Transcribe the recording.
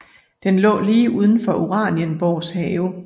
Det lå lige uden for Uranienborgs have